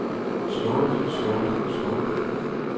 slået slået slået